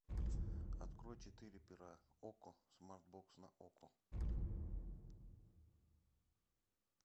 открой четыре пера окко смарт бокс на окко